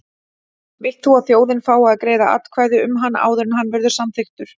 Vilt þú að þjóðin fái að greiða atkvæði um hann áður en hann verður samþykktur?